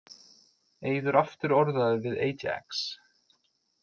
Eiður aftur orðaður við Ajax